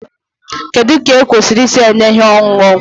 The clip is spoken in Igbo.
Kedu ka ekwesịrị isi nye ihe ọṅụṅụ?